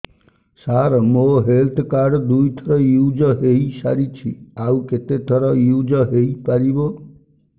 ସାର ମୋ health card ଦୁଇ ଥର ୟୁଜ଼ ହୈ ସାରିଛି ଆଉ କେତେ ଥର ୟୁଜ଼ ହୈ ପାରିବ